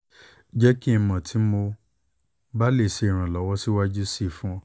jẹ ki n mọ ti ti mo ba le ṣe iranlọwọ siwaju sii fun ọ